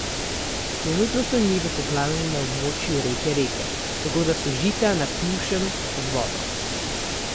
Trenutno so njive poplavljene na območju reke Reke, tako da so žita na Pivškem pod vodo.